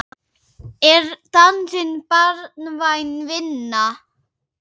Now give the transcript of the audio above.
Er dansinn barnvæn vinna?